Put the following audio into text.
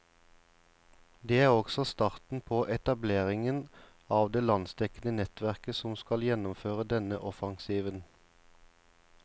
Det er også starten på etableringen av det landsdekkende nettverk som skal gjennomføre denne offensiven.